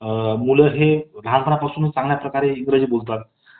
अ... मुलं हे लहानपणापासून चांगल्या प्रकारे इंग्रजी बोलतात